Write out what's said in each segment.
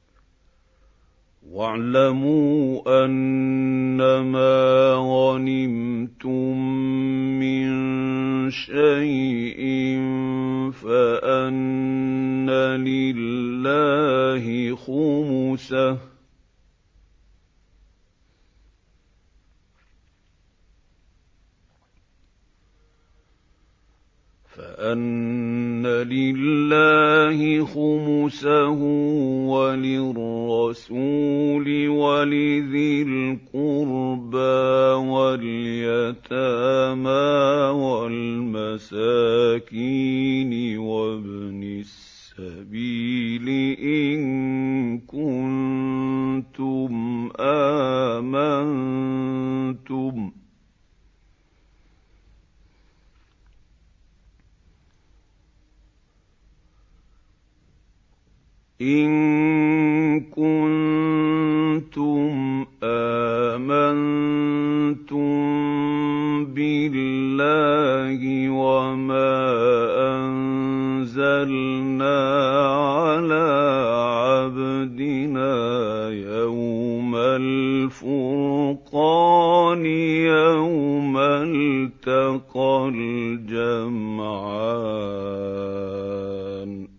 ۞ وَاعْلَمُوا أَنَّمَا غَنِمْتُم مِّن شَيْءٍ فَأَنَّ لِلَّهِ خُمُسَهُ وَلِلرَّسُولِ وَلِذِي الْقُرْبَىٰ وَالْيَتَامَىٰ وَالْمَسَاكِينِ وَابْنِ السَّبِيلِ إِن كُنتُمْ آمَنتُم بِاللَّهِ وَمَا أَنزَلْنَا عَلَىٰ عَبْدِنَا يَوْمَ الْفُرْقَانِ يَوْمَ الْتَقَى الْجَمْعَانِ ۗ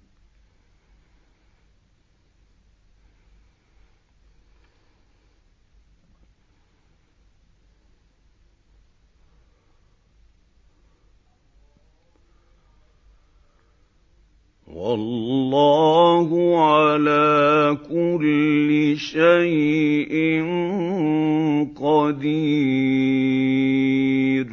وَاللَّهُ عَلَىٰ كُلِّ شَيْءٍ قَدِيرٌ